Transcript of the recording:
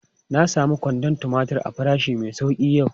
Na samu kwandon tumatir a farashi mai sauki yau.